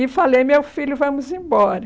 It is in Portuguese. E falei, meu filho, vamos embora.